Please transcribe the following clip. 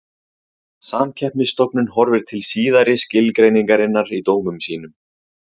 Samkeppnisstofnun horfir til síðari skilgreiningarinnar í dómum sínum.